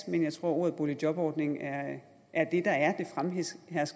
men jeg tror at ordet boligjobordning er er det der er det fremherskende